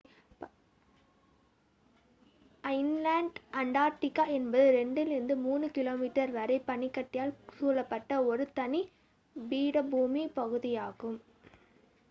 inland Antarctica என்பது 2-3 கிமீ வரை பனிக்கட்டியால் சூழப்பட்ட ஒரு தனி பீடபூமி பகுதியாகும்